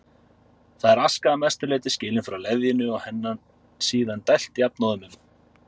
Þar er aska að mestu leyti skilin frá leðjunni og henni síðan dælt jafnóðum um